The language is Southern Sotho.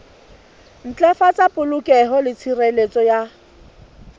ntlafatsa polokeho le tshireletso ya